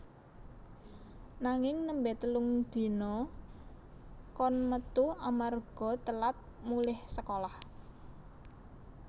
Nanging nembe telung dina kon metu amarga telat mulih sekolah